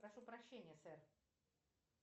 прошу прощения сэр